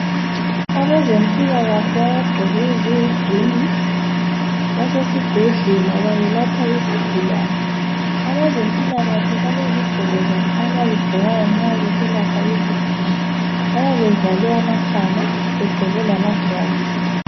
Abezempila kahle abagqoke eziyi green basesibhedlela bayelapha isigulane. Abezempila kahle balezigqoko zabo abazigqokayo nxa beselapha izigulane bayabe bevale amakhala begqoke lama gloves.